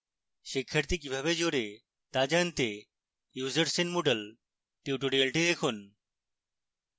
শিক্ষার্থী কিভাবে জোড়ে to জানতে users in moodle tutorial দেখুন